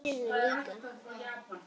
Mamma mín er svona líka.